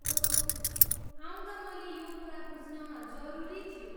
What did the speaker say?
ओह, आउँदा मैले यो कुरा बुझ्न जरुरी थियो।